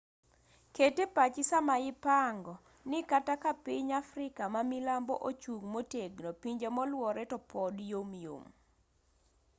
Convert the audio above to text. ket epachi sama ipango ni kata ka piny afrika mamilambo ochung' motegno pinje moluore to pod yomyom